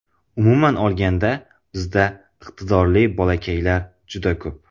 Umuman olganda bizda iqtidorli bolakaylar juda ko‘p.